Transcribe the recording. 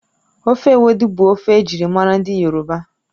Ofe ewedu bụ ofe ejirimara ndị yoroba